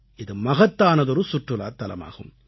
இது மகத்தானதொரு சுற்றுலாத் தலமாகும்